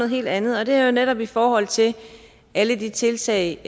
helt andet og det er netop i forhold til alle de tiltag